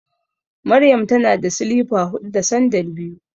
Maryam tana da silifa huɗu da sandal biyu.